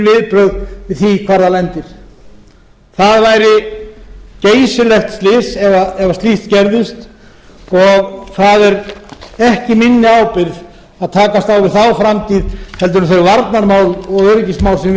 viðbrögð við því hvar það lendir það væri geysilegt slys ef slíkt gerðist og það er ekki minni ábyrgð að takast á við þá framtíð en þau varnarmál og öryggismál sem við